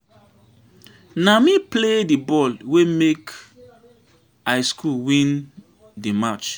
Na me play di ball wey make I school win di match.